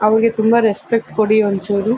ನಮಗೆ ಹುಂಬಾ ರೆಸ್ಪೆಕ್ಟ್ ಕೊಡಿ ಒಂಚೂರು.